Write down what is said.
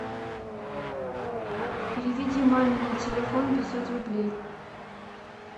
переведи маме на телефон пятьсот рублей